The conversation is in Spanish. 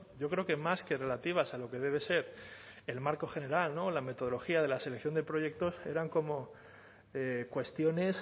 yo creo que más que relativas a lo que debe ser el marco general la metodología de la selección de proyectos eran como cuestiones